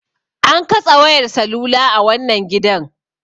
An katse wayar salula a wannan gidan.